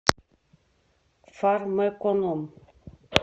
фармэконом